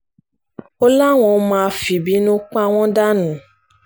ó láwọn máa fìbínú pa wọ́n dànù ni